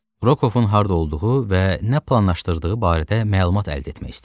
Rokovun harda olduğu və nə planlaşdırdığı barədə məlumat əldə etmək istəyirdi.